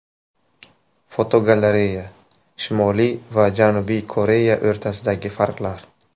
Fotogalereya: Shimoliy va Janubiy Koreya o‘rtasidagi farqlar.